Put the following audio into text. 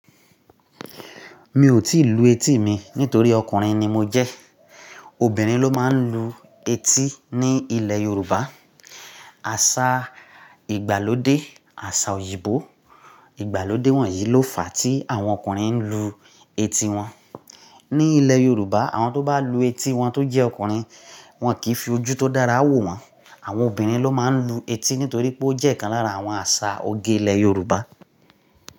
Mi ò tí ì lu etí mi nítorí ọkùnrin ni mo jẹ́. Obìnrin ló máa ń lu etí ní ilẹ̀ Yorùbá. Àṣà ìgbàlódé, àṣà òyìnbó ìgbàlódé wọ̀nyí ló fà á tí àwọn ọkùnrin ń lu etí wọn. Ní ilẹ̀ Yorùbá, àwọn tó bá lu etí wọn tó jẹ́ ọkùnrin, wọn kì í fi ojú tó dára wò wọ́n. Àwọn obìnrin ló máa ń lu etí nítorí pé ó jẹ́ ìkan lára àwọn àṣà oge ilẹ̀ Yorùbá.